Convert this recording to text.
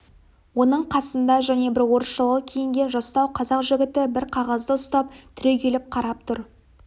оның қасында және бір орысшалау киінген жастау қазақ жігіті бір қағазды ұстап түрегеліп қарап тұр